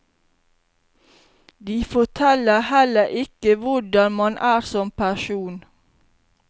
De forteller heller ikke hvordan man er som person.